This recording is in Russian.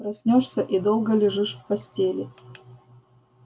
проснёшься и долго лежишь в постели